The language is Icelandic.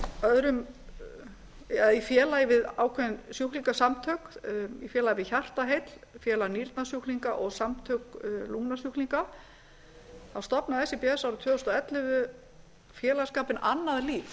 öðrum eða í félagi við ákveðin sjúklingasamtökin í félagi við hjartaheill félag nýrnajsúklinga og samtök lungnasjúklinga þá stofnaði síbs árið tvö þúsund og ellefu félagsskapinn annað líf